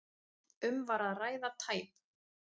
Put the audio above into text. Um var að ræða tæp